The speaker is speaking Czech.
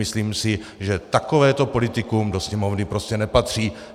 Myslím si, že takovéto politikum do Sněmovny prostě nepatří.